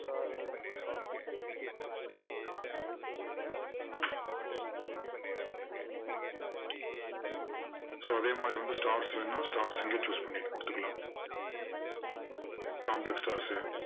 so அதே மாதிரி வந்து stars வேணும்னா stars இங்க choose பண்ணிட்டு கொடுத்துக்கலாம் complex stars உ